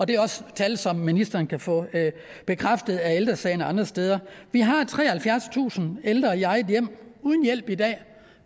det er også tal som ministeren kan få bekræftet af ældre sagen og andre steder vi har treoghalvfjerdstusind ældre i eget hjem uden hjælp i dag og